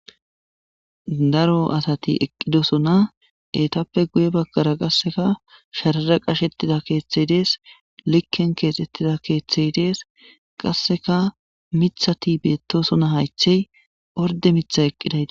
Daro asati eqqidosona eetappe guye bagkara qasseka sharara qashettida keeththey dees likken keexettida keeththey dees qasseka mithati beettosona haychey orde mitha eqqidayi.